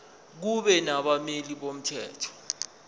kube nabameli bomthetho